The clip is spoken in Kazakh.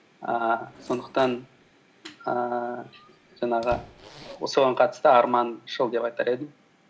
ііі сондықтан ііі жаңағы соған қатысты арманшыл деп айтар едім